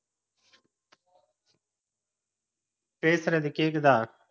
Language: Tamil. பேசுறது கேக்குதா?